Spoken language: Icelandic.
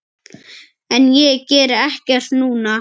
En ég geri ekkert núna.